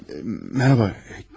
Mərhaba, kimsəniz?